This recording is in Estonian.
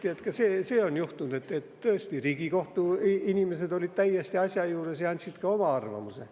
Kinnitati, et see on olnud, et tõesti, Riigikohtu inimesed olid täiesti asja juures ja andsid ka oma arvamuse.